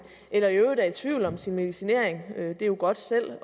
eller i øvrigt er i tvivl om sin medicinering det er jo godt